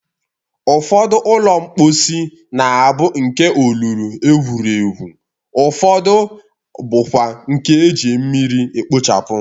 Ụfọdụ ụlọ mkposi na-abụ nke olulu egwuru egwu, ufọdụ na-abụkwa nke e ji mmiri ekpochapụ.